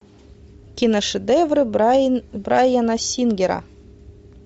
киношедевры браяна сингера